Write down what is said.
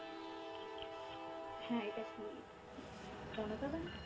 হ্যাঁ এটা কি জনতা bank?